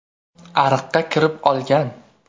Ariqqa kirib olgan.